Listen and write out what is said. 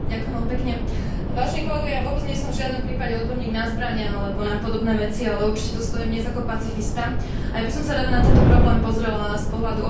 Vôbec nie som v žiadnom prípade odborník na zbrane alebo na podobné veci, ale určite tu stojím dnes ako pacifista a ja by som sa rada na tento problém pozrela z pohľadu obyčajných občanov Európskej únie.